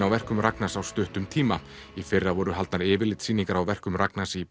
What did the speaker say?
á verkum Ragnars á stuttum tíma í fyrra voru haldnar yfirlitssýningar á verkum Ragnars í